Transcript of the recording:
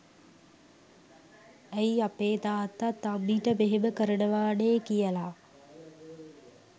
ඇයි අපේ තාත්තාත් අම්මිට මෙහෙම කරනවානේ කියලා